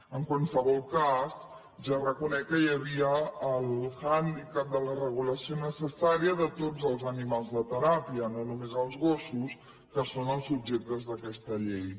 en qualsevol cas ja reconec que hi havia el handicap de la regulació necessària de tots el animals de teràpia no només els gossos que són els objectes d’aquesta llei